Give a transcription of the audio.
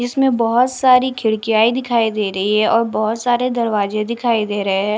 इसमें बहोत सारी खिड़कीयाए दिखाई दे रही है और बहोत सारे दरवाजे दिखाई दे रहे हैं।